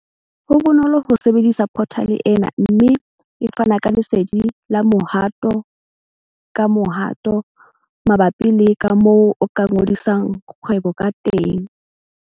Ho bonolo ho sebedisa phothale ena mme e fana ka lesedi la mohato-kamohato mabapi le kamoo o ka ngodisang kgwebo kateng.